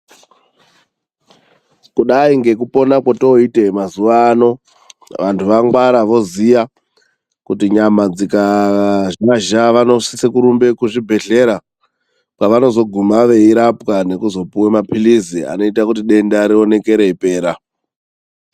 Kudai ngekupona kwetooite mazuwa ano, vantu vangwara voziya kuti nyama dzikaamazha vanosise kurumbe kuzvibhedhlera. Kwevanozoguma veirapwa nekuzopuwa mapilizi anoita kuti denda rioneke reipera.